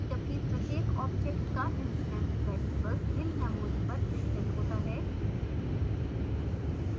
जबकि प्रत्येकobject का instance variables भिन्न memory पर स्थित होता है